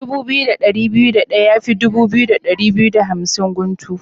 Dubu biyu da ɗari biyu da ɗaya yafi dubu biyu da ɗari biyu da hamsin guntu.